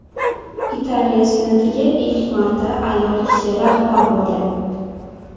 Italiya senatiga ilk marta ayol kishi rahbar bo‘ldi.